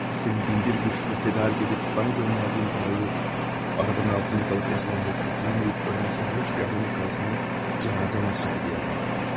Sənin min bir çətinliklə tədarük edib mənə göndərdiyin pulu avtomobilin altında qalıb əzilən, qurtulamayıb ölən sərxoş bir adamın arvadına cənazə xərci deyə verdim.